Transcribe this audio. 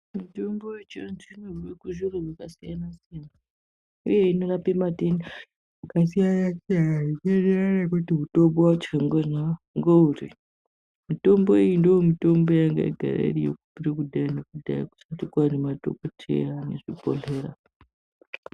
Mitombo yechi antu inobve kunzvimbo dzakasiyana siyana uye inorape matenda akasiyana siyana zvichiendererana nekuti mutombo wacho ngeuri, Mitombo iyi ndomutombo yanga yagara iriyo kubvira kudhaya nekudhaya kusati kwaane madhokodheya nezvibhedhleya.